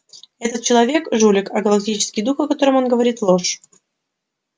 этот человек жулик а галактический дух о котором он говорит ложь